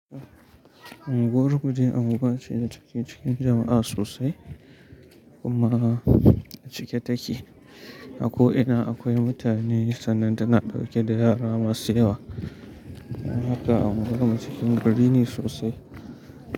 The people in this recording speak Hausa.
Anguwar kuje anguwa ce da take cikin jama'a sosai kuma cike take. Ako ina akwai mutane sannan tana ɗauke da yara masu yawa. Don haka unguwar mu cikin gari ne sosai.